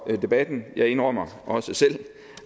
debatten jeg indrømmer også selv